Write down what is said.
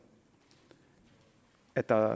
at der